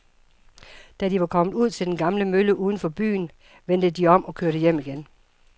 Da de var kommet ud til den gamle mølle uden for byen, vendte de om og kørte hjem igen.